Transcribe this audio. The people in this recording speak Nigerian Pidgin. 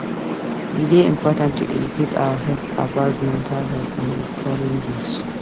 E dey important to educate ourselves about mental health and its challenges.